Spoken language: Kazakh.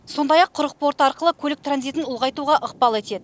сондай ақ құрық порты арқылы көлік транзитін ұлғайтуға ықпал етеді